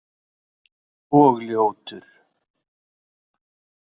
Og ljótur.